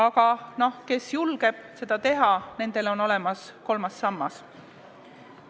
Nendel, kes on julgemad, on olemas kolmas sammas.